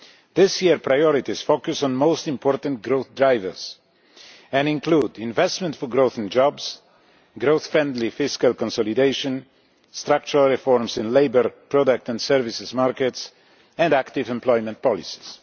This year, priorities focus on the most important growth drivers and include investment for growth and jobs, growth friendly fiscal consolidation, structural reforms in the labour, product and services markets, and active employment policies.